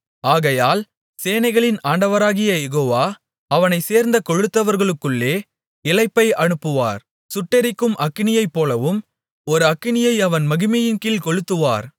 ஆகையால் சேனைகளின் ஆண்டவராகிய யெகோவா அவனைச் சேர்ந்த கொழுத்தவர்களுக்குள்ளே இளைப்பை அனுப்புவார் சுட்டெரிக்கும் அக்கினியைப் போலவும் ஒரு அக்கினியை அவன் மகிமையின்கீழ் கொளுத்துவார்